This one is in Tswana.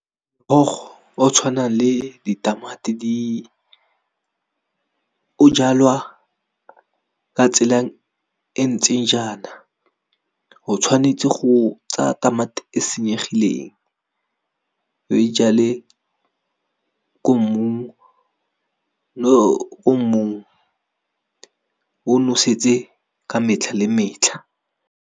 Morogo o tshwanang le di tamati di o jalwa ka tsela e ntseng jaana, o tshwanetse go tsa tamati e senyegileng o e jale ko mmung, mo mmung o nosetse ka metlha le metlha,